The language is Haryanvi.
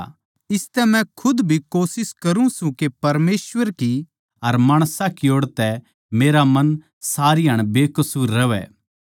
इसतै म्ह खुद भी कोशिश करूँ सूं के परमेसवर की अर माणसां की ओड़ तै मेरा मन सारीहाण बेकसूर रहवै